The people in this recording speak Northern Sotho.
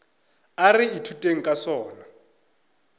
a re ithuteng ka sona